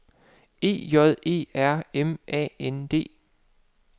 E J E R M Æ N D